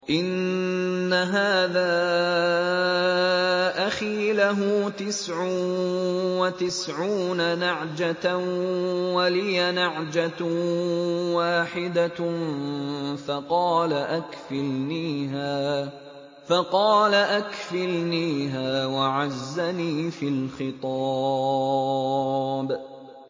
إِنَّ هَٰذَا أَخِي لَهُ تِسْعٌ وَتِسْعُونَ نَعْجَةً وَلِيَ نَعْجَةٌ وَاحِدَةٌ فَقَالَ أَكْفِلْنِيهَا وَعَزَّنِي فِي الْخِطَابِ